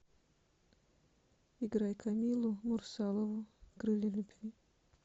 играй камилу мурсалову крылья любви